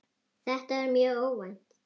Þetta var mjög óvænt.